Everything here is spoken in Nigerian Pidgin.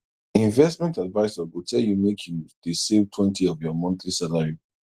investment advisor go tell you make you dey savetwentyof your monthly salary